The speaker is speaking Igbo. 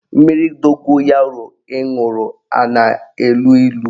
Mmiri dogoyaro ị ṅụrụ a na-elu ilu?